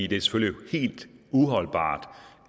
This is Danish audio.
det er selvfølgelig helt uholdbart